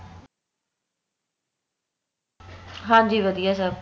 ਹਾਂਜੀ ਵਧੀਆ ਸਬ